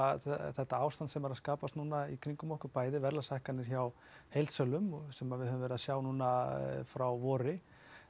þetta ástand sem er að skapast í kringum okkur bæði verðlagshækkanir hjá heildsölum sem við höfum verið að sjá núna frá vori